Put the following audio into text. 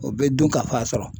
O be dunkafa sɔrɔ.